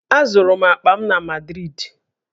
Azụrụ m akpa m na Madrịdị